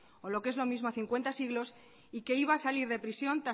o lo que es lo mismo a cincuenta siglos y que iba a salir de prisión